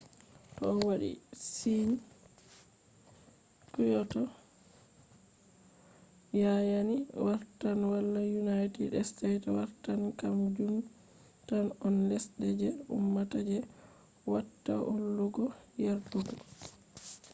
to o wadi sign kyoto yanayi wartan wala united state wartan kam jun tan on lesde je ummata je watta hollugo yerdugo